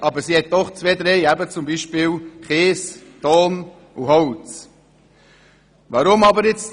Aber sie hat eben doch zwei, drei Rohstoffe, zum Beispiel Kies, Ton und Holz.